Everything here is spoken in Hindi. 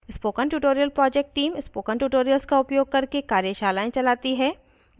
spoken tutorial project team spoken tutorials का उपयोग करके कार्यशालाएं चलाती है